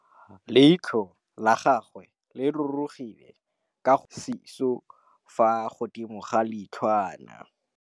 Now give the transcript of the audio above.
Leitlhô la gagwe le rurugile ka gore o tswile sisô fa godimo ga leitlhwana.